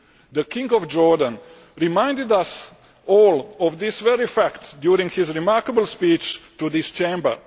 The King of Jordan reminded us all of this very fact during his remarkable speech to this Chamber.